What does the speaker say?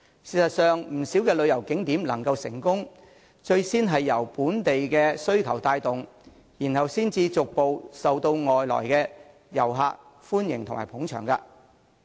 事實上，不少旅遊景點能夠成功，最先是由本地需求帶動，然後才逐漸受到外來遊客的歡迎和捧場。